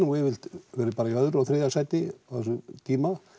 yfirleitt í öðru eða þriðja sæti á þessum tíma